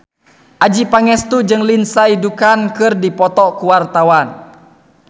Adjie Pangestu jeung Lindsay Ducan keur dipoto ku wartawan